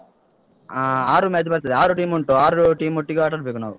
ಹಾ ಆರು match ಬರ್ತದೆ. ಆರು team ಉಂಟು. ಆರು team ಒಟ್ಟಿಗೆ ಆಟ ಆಡ್ಬೇಕು ನಾವು.